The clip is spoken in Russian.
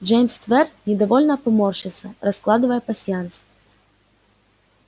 джеймс твер недовольно поморщился раскладывая пасьянс